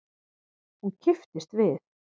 Hún kipptist við.